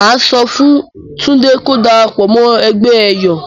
Mà á sọ fún Túndé ko darapọ̀ mọ́ ẹgbẹ́ ẹ̀yọ̀.